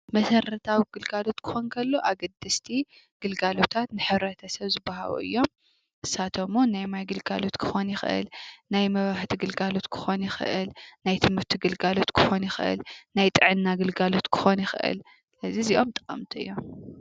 መሰረታዊ ግልጋሎት ክኾን ከሎ፣ ኣገደስቲ ግልጋሎት ሕብረተሰብ ዝወሃቡ እዮም ፤ንሳቶም ዉን ናይ ማይ ግልጋሎት ክኾን ይኽእል፣ ናይ መብራህቲ ግልጋሎት ክኾን ይኽእል ፣ናይ ትምህርቲ ግልጋሎት ክኾን ይኽእል፣ ናይ ጥዕና ግልጋሎት ክኾን ይኽእል። እዚኦም ጠቀምቲ እዮም።